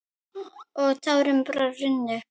Og tárin bara runnu.